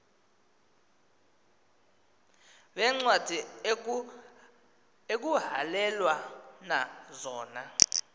veencwadi ekuhhalelwana zona